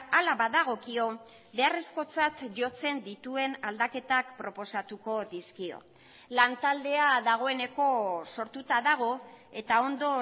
hala badagokio beharrezkotzat jotzen dituen aldaketak proposatuko dizkio lantaldea dagoeneko sortuta dago eta ondo